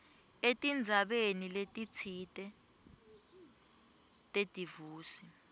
etindzabeni letitsite tedivosi